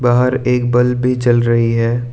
बाहर एक बल्ब भी जल रही है।